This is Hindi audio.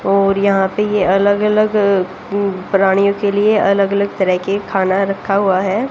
और यहां पे ये अलग-अलग प्राणियों के लिए अलग-अलग तरह के खाना रखा हुआ है।